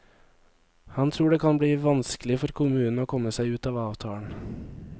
Han tror det kan bli vanskelig for kommunen å komme seg ut av avtalen.